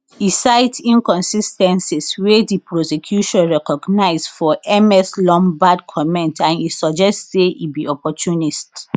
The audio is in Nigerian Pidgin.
e cite inconsis ten cies wey di prosecution recognise for ms lombaard comment and e suggest say e be opportunist